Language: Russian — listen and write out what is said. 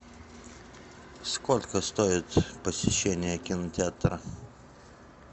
сколько стоит посещение кинотеатра